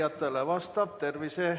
Aitäh!